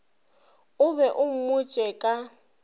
o be o mmotše ka